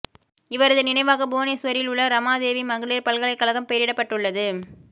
இவரது நினைவாக புவனேசுவரில் உள்ள இரமாதேவி மகளிர் பல்கலைக்கழகம் பெயரிடப்பட்டுள்ளது